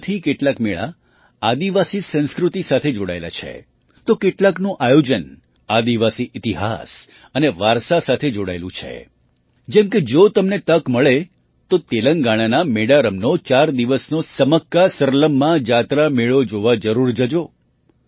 તેમાંથી કેટલાક મેળા આદિવાસી સંસ્કૃતિ સાથે જોડાયેલા છે તો કેટલાકનું આયોજન આદિવાસી ઇતિહાસ અને વારસા સાથે જોડાયેલું છે જેમ કે જો તમને તક મળે તો તેલંગાણાના મેડારમનો ચાર દિવસનો સમક્કાસરલમ્મા જાતરા મેળો જોવા જરૂર જજો